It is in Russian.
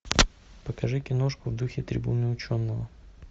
покажи киношку в духе трибуны ученого